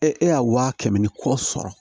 Ee e y'a wa kɛmɛ ni kɔ sɔrɔ